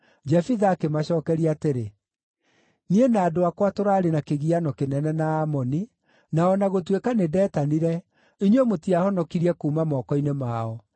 Jefitha akĩmacookeria atĩrĩ, “Niĩ na andũ akwa tũraarĩ na kĩgiano kĩnene na Aamoni, na o na gũtuĩka nĩndetanire, inyuĩ mũtiahonokirie kuuma moko-inĩ mao.